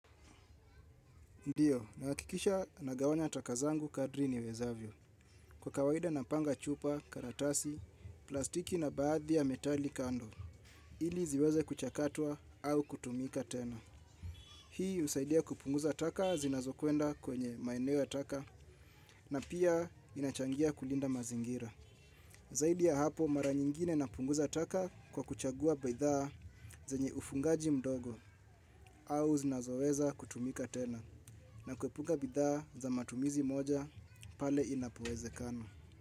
Ndiyo, nahakikisha nagawanya taka zangu kadri niwezavyo. Kwa kawaida napanga chupa, karatasi, plastiki na baadhi ya metali kando. Ili ziweze kuchakatwa au kutumika tena. Hii husaidia kupunguza taka zinazokwenda kwenye maeneo ya taka na pia inachangia kulinda mazingira. Zaidi ya hapo mara nyingine napunguza taka kwa kuchagua bidhaa zenye ufungaji mdogo, au zinazoweza kutumika tena na kuepuka bidhaa za matumizi moja pale inapowezekana.